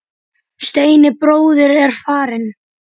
Steini bróðir er farinn.